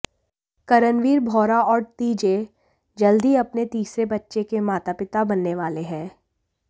करणवीर बोहरा और तीजय जल्द ही अपने तीसरे बच्चे के माता पिता बनने वाले हैं